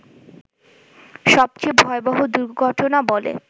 সবচেয়ে ভয়াবহ দুর্ঘটনা বলে